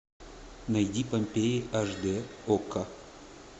найди помпеи аш дэ окко